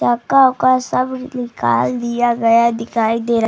चक्का-उक्का सब निकाल दिया गया दिखाई दे र --